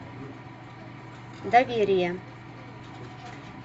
доверие